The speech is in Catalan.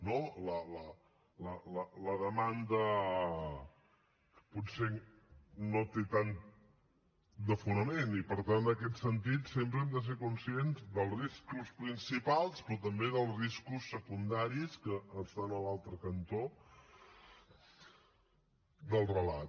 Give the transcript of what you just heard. no la demanda potser no té tant de fonament i per tant en aquest sentit sempre hem de ser conscients dels riscos principals però també dels riscos secundaris que estan a l’altre cantó del relat